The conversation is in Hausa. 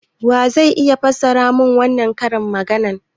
Wa zai iya fassara mun wannan karin magana?